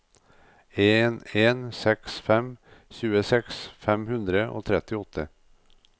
en en seks fem tjueseks fem hundre og trettiåtte